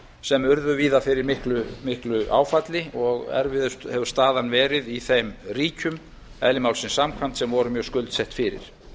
sem urðu víða fyrir miklu áfalli og erfiðust hefur staðan verið í þeim ríkjum eðli málsins samkvæmt sem voru mjög skuldsett fyrir